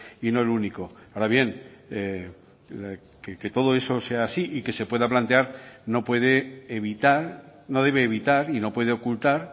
y no el único ahora bien que todo eso sea así y que se pueda plantear no puede evitar no debe evitar y no puede ocultar